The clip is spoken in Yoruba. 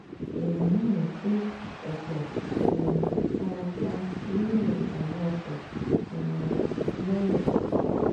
èèyàn márùn-ún ku ọ̀pọ̀ um fara pa nínú ìjàm̀bá ọkọ̀ um lọ́rẹ́